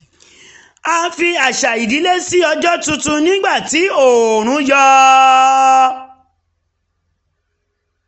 a fi àṣà ìdílé ṣí ọjọ́ tuntun nígbà tí oòrùn yọ̀